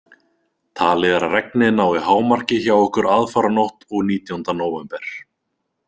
Talið er að regnið nái hámarki hjá okkur aðfaranótt og nítjánda nóvember.